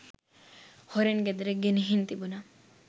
හොරෙන් ගෙදර ගෙනිහිං තිබුණා.